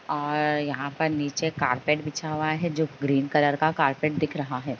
और यहाँ पर नीचे कारपेट बिछा हुआ है जो ग्रीन कलर का कारपेट दिख रहा है।